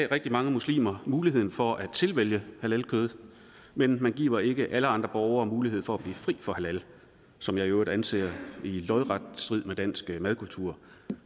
rigtig mange muslimer muligheden for at tilvælge halalkød men man giver ikke alle andre borgere mulighed for at blive fri for halal som jeg i øvrigt anser i lodret strid med dansk madkultur